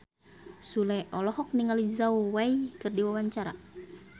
Sule olohok ningali Zhao Wei keur diwawancara